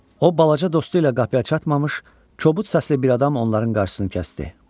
O balaca dostu ilə qapıya çatmamış, kobud saçlı bir adam onların qarşısını kəsdi.